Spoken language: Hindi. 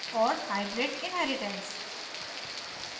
और hybrid inheritance